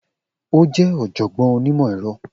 O jẹ oọ̀jọ̀gbọ́n onímọ̀ ẹ̀rọ